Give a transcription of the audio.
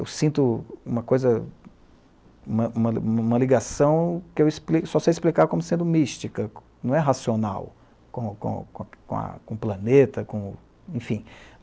eu sinto uma coisa, uma, uma, uma ligação que só sei explicar como sendo mística, não é racional com o planeta com, enfim.